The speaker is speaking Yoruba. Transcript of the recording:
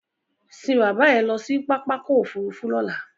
Sín bàbá ẹ lọ sí pápákọ̀ òfurufú lọ́là!